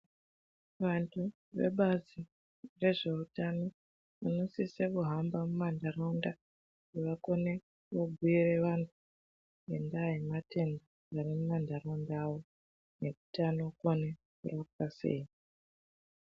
Vantu vebazi rezvehutano, vanosise kuhamba mumandarawunda vakone kunobuyira vanhu ngendaya yematenda arimumandarawunda awo, nekuti ano fane rapwa seyi.